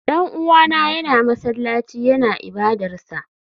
Dan uwana yana masallaci yana ibadarsa.